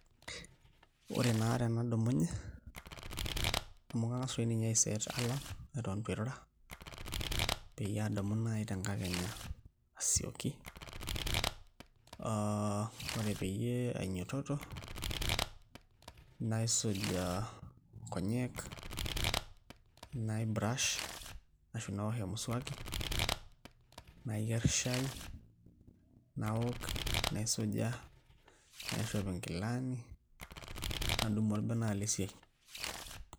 Ore naa tenadumunye amu kang'as toi ninye aiset alarm eton itu airura peyie aadumu naai tenkakenya asioki ore peyie ainyiototo naisuj nkonyek naibrush ashu naosh emuswaki nayierr shaai naook naisuja naishop nkilani, nadumu orbene alo esiai.